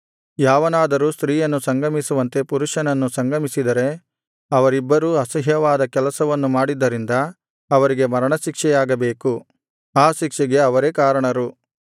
ಯಾವನಾದರೂ ಸ್ತ್ರೀಯನ್ನು ಸಂಗಮಿಸುವಂತೆ ಪುರುಷನನ್ನು ಸಂಗಮಿಸಿದರೆ ಅವರಿಬ್ಬರೂ ಅಸಹ್ಯವಾದ ಕೆಲಸವನ್ನು ಮಾಡಿದ್ದರಿಂದ ಅವರಿಗೆ ಮರಣಶಿಕ್ಷೆಯಾಗಬೇಕು ಆ ಶಿಕ್ಷೆಗೆ ಅವರೇ ಕಾರಣರು